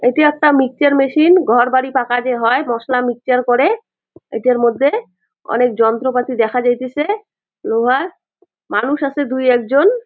এটি একটা mixture machine ঘর বাড়ি পাকা যে হয় মশলা মিক্সচার করে এটার মধ্যে অনেক যন্ত্রপাতি দেখা যাইতেছে লোহার। মানুষ আছে দুই একজন।